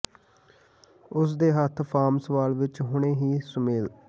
ਉਸ ਦੇ ਹੱਥ ਫਾਰਮ ਸਵਾਲ ਵਿੱਚ ਹੁਣੇ ਹੀ ਸੁਮੇਲ